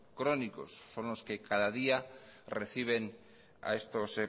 crónicos son los que cada día reciben a estos